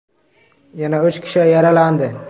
Yana uch kishi yaralandi.